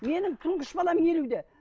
менің тұңғыш балам елуде